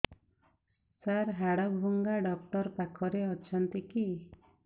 ସାର ହାଡଭଙ୍ଗା ଡକ୍ଟର ପାଖରେ ଅଛନ୍ତି କି